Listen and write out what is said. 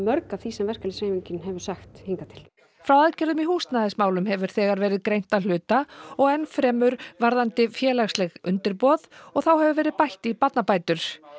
því sem verkalýðsforystan hefur sagt hingað til frá aðgerðum í húsnæðismálum hefur þegar verið greint að hluta og enn fremur varðandi félagsleg undirboð og þá hefur verið bætt í barnabætur